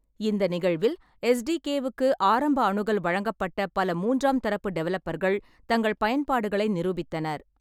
இந்த நிகழ்வில், எஸ்.டி.கே.வுக்கு ஆரம்ப அணுகல் வழங்கப்பட்ட பல மூன்றாம் தரப்பு டெவலப்பர்கள் தங்கள் பயன்பாடுகளை நிரூபித்தனர்.